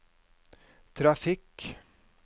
trafikk